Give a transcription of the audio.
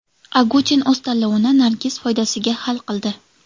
Agutin o‘z tanlovini Nargiz foydasiga hal qildi.